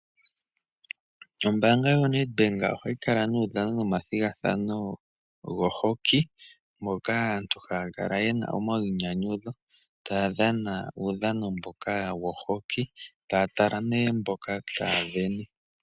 Ombaanga yo Nedbank ohayi kala nuudhano nomathigathano go hockey moka aantu haya kala yena omayinyanyudho taya dhana uudhano mboka wo hockey taya tala nee mboka taya sindana.